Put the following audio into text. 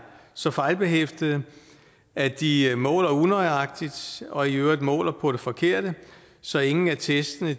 så fejlbehæftede at de måler unøjagtigt og i øvrigt måler på det forkerte så ingen af testene